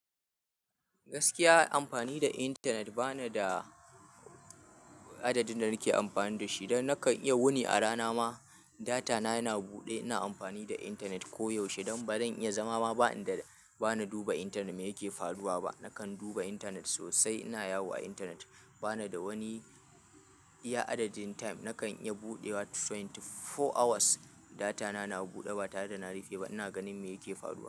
Gaskiya amfani da intanet bana da adadin da nake amfani da shi. Don nakan iya wuni a rana ma data na yana buɗe ina amfani da internet koyaushe. Don bazan iya zama ba ba ninduba intanet mai yake faruwa ba nakan duba internet sosai. Ina yawo a intanet. Bani da wani ya addadin time nakan iya budewa 24 awas data na na bude ba tare da na rufe ba. Ina ganin me yake faruwa.